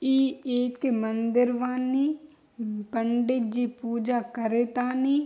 ई एक मंदिर बानी म पंडित जी पूजा करे तानी।